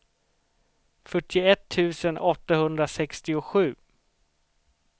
fyrtioett tusen åttahundrasextiosju